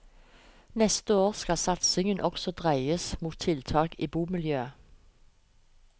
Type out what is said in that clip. Neste år skal satsingen også dreies mot tiltak i bomiljøet.